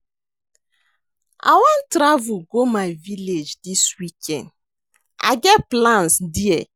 I wan travel go my village dis weekend. I get plans there.